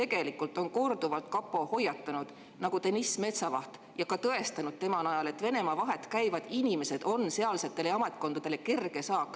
Kapo on korduvalt hoiatanud, Deniss Metsavase ja tõestades tema näite najal, et Venemaa vahet käivad inimesed on sealsetele ametkondadele kerge saak.